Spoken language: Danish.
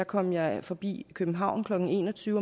kom jeg forbi københavn klokken en og tyve